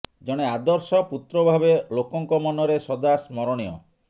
ଜଣେ ଆଦର୍ଶ ପୁତ୍ର ଭାବେ ଲୋକଙ୍କ ମନରେ ସଦା ସ୍ମରଣୀୟ